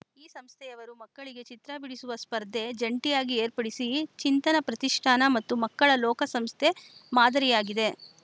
ಈ ಸಂಸ್ಥೆಯವರು ಮಕ್ಕಳಿಗೆ ಚಿತ್ರ ಬಿಡಿಸುವ ಸ್ಪರ್ಧೆ ಜಂಟಿಯಾಗಿ ಏರ್ಪಡಿಸಿ ಚಿಂತನ ಪ್ರತಿಷ್ಠಾನ ಮತ್ತು ಮಕ್ಕಳ ಲೋಕ ಸಂಸ್ಥೆ ಮಾದರಿಯಾಗಿದೆ